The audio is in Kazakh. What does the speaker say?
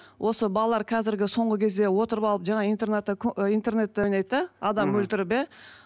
осы балалар қазіргі соңғы кезде отырып алып жаңа интернетте интернетте ойнайды да адам өлтіріп иә